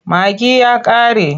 Magi ya ƙare.